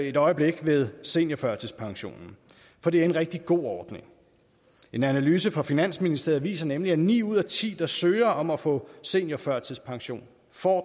et øjeblik ved seniorførtidspensionen for det er en rigtig god ordning en analyse fra finansministeriet viser nemlig at ni ud af ti der søger om at få seniorførtidspension får